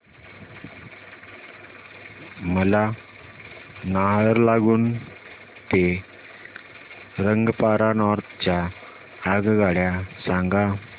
मला नाहरलागुन ते रंगपारा नॉर्थ च्या आगगाड्या सांगा